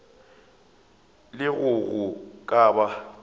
le ge go ka ba